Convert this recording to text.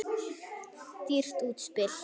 Dýrt útspil.